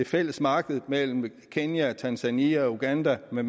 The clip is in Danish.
fælles marked mellem kenya tanzania uganda med